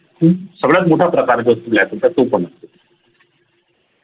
खूप सगळ्यात मोठा प्रकार आहे black hole चा तो पण असतो